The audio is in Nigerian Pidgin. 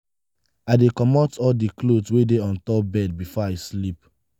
i dey comot all di cloth wey dey on top bed before i sleep.